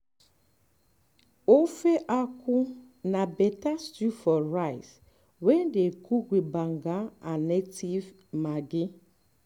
ofe akwu na better stew for rice wey dey cook with banga and native maggi